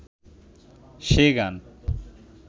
সে গান